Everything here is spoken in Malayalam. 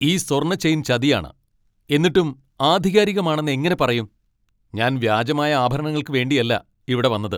ഈ സ്വർണ്ണ ചെയിൻ ചതിയാണ്, എന്നിട്ടും ആധികാരികമാണെന്ന് എങ്ങനെ പറയും? ഞാൻ വ്യാജമായ ആഭരണങ്ങൾക്കു വേണ്ടിയല്ല ഇവിടെ വന്നത് !